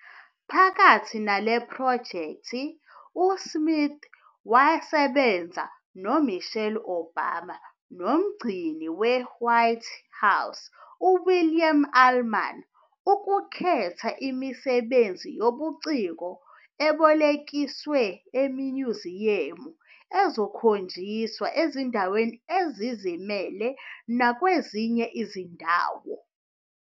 Phakathi nale phrojekthi, uSmith wasebenza noMichelle Obama noMgcini weWhite House uWilliam Allman ukukhetha imisebenzi yobuciko ebolekiswe eminyuziyamu ezokhonjiswa ezindaweni ezizimele nakwezinye izindawo.